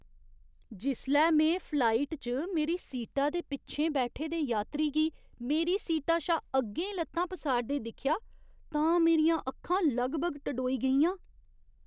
जिसलै में फ्लाइट च मेरी सीटा दे पिच्छें बैठे दे यात्री गी मेरी सीटा शा अग्गें ल'त्तां पसारदे दिक्खेआ तां मेरियां अक्खां लगभग टडोई गेइयां।